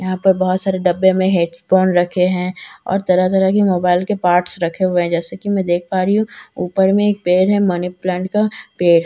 यहां पर बहुत सारे डब्बे में हैडफ़ोन रखे है और तरह तरह की मोबाइल के पार्ट्स रखे हुए है जैसे की मैं देख पा रही हूं ऊपर में एक पेड़ है मनीप्लांट का पेड़--